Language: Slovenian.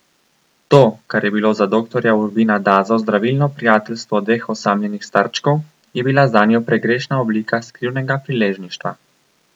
To, kar je bilo za doktorja Urbina Dazo zdravilno prijateljstvo dveh osamljenih starčkov, je bila zanjo pregrešna oblika skrivnega priležništva.